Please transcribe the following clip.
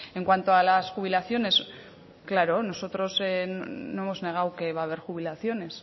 en cuanto a las jubilaciones claro nosotros no hemos negado que va a ver jubilaciones